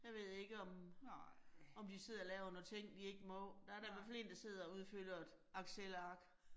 Jeg ved ikke, om om de sidder og laver noget ting, de ikke må. Der er da i hvert fald én der sidder og udfylder et Excelark